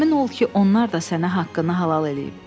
Əmin ol ki, onlar da sənə haqqını halal eləyib.